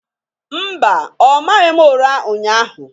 Mba, ọ maghị m ụra ụnyahụ.